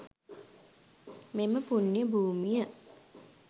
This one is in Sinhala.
මෙම පුණ්‍ය භූමිය